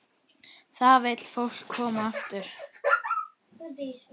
Þá vill fólk koma aftur.